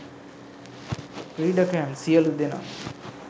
ක්‍රීඩකයන් සියලුදෙනා